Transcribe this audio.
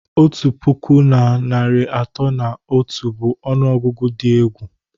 Otu puku na narị atọ na otu bụ ọnụọgụgụ dị egwu